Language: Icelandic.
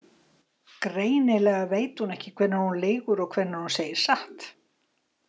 Greinilega veit ekki hvenær hún lýgur og hvenær hún segir satt.